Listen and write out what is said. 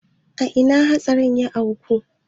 A ina hatsarin ya auku?